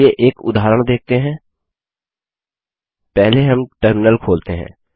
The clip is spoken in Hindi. चलिए एक उदाहरण देखते हैं पहले हम टर्मिनल खोलते हैं